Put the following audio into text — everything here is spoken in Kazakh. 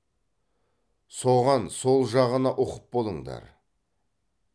соған сол жағына ұқып болыңдар